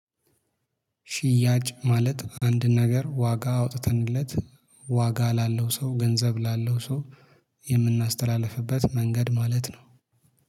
ሽያጭ ማለት አንድ ነገር ዋጋ አውጥተንለት ዋጋ ላለው ሰው ገንዘብ ላለው ሰው የምናስተላልፍበት መንገድ ማለት ነው